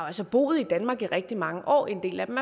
altså boet i danmark i rigtig mange år og en del af dem